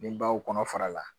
Ni baw kɔnɔ fara la